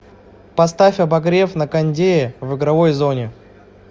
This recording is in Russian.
поставь обогрев на кондее в игровой зоне